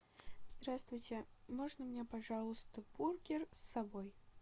здравствуйте можно мне пожалуйста бургер с собой